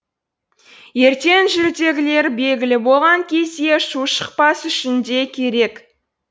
ертең жүлдегілер белгілі болған кезде шу шықпас үшін де керек